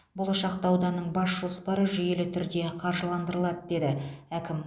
болашақта ауданның бас жоспары жүйелі түрде қаржыландырылады деді әкім